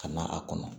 Ka na a kɔnɔ